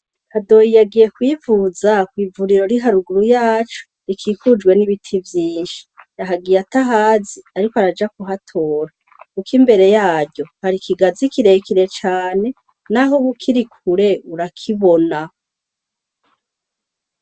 Hadoyi yagiye kwivuza kw'ivuriro riri haruguru yacu rikikujwe n'ibiti vyinshi yahagiye atahazi, ariko araja ku hatora, kuko imbere yaryo hari ikigazi kirekire cane, naho woba ukiri kure urakibona.